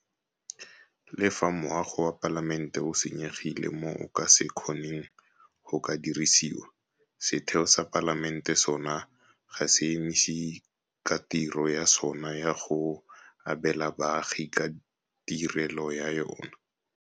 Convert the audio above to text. Le fa moago wa Palamente o senyegile mo o ka se kgoneng go ka dirisiwa, setheo sa Palamente sona ga se emise ka tiro ya sona ya go abela baagi ka tirelo ya yona.